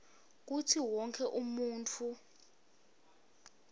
kutsi wonkhe umuntfu